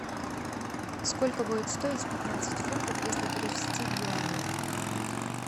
сколько будет стоить пятнадцать фунтов если перевести в юани